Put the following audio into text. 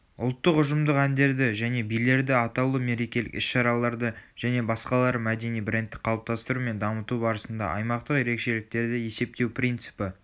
ұлттық ұжымдық әндерді және билерді атаулы мерекелік іс-шараларды және басқалары мәдени брендті қалыптастыру мен дамыту барысында аймақтық ерекшеліктерді есептеу принципі